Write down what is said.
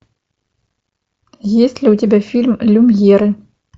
есть ли у тебя фильм люмьеры